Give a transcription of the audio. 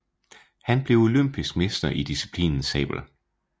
Han blev olympisk mester i disciplinen sabel